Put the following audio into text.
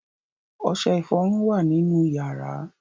Ọṣẹ-ìfọrun wà nínú ìyàrá.